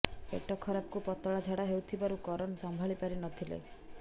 ପେଟ ଖରାପକୁ ପତଳା ଝା଼ଡା ହେଉଥିବାରୁ କରନ୍ ସମ୍ଭାଳି ପାରି ନ ଥିଲେ